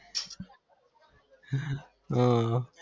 હ